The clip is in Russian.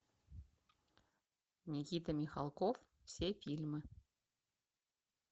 никита михалков все фильмы